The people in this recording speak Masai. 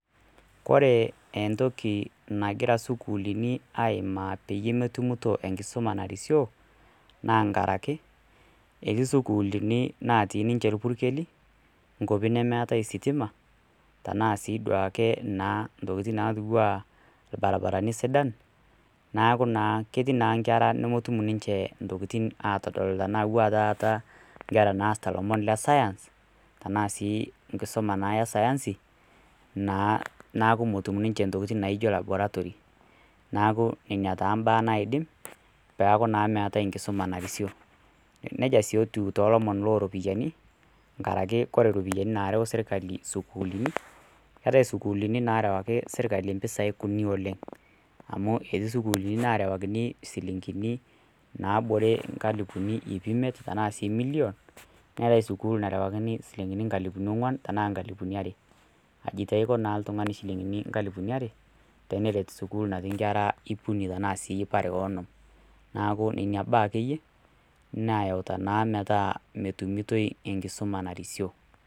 Kore entoki nagiraisukulini aimaa peyie metumito enkisuma narisioo naa enkaraki, etii isukulini natii ninche irpurkeli, inkwapi nemeatai sitima, tanaa sii duo ake intokitin natiu ana ilbaribarani sidan, neaku naa ketii ninche inkera nemetum intokitin atadol tanaa ewuo aa taata inkera naasita ilomon le Science tanaa sii enkisuma e sayansi, naa neaku metum ninche intokitin naijo laboratory. Neaku neina naa imbaa naidim peaku naa meatai enkisuma nairisiou. Neija sii etiu too ilomon loo iropiani, enkaraki ore iropiani naareu sirkali isukuulini, keatai isukulini naarewaki serkali impisai kuni oleng', amu amu etii sukuulini naarewakini isilinkini naabore inkalifuni iip imiet, tanaa sii million, neati sukuulini naarewakini insilinkini nkalifuni ong'wan tana inkalifuni are, aji taa eiko oltung'ani inchilingini nkalifuni iip are teneret naa sikulini natii ikera iip are anaa sii iip are o onom, neaku neina baa ake iyie nayauta naa metaa metumitoi enkisuma narisio.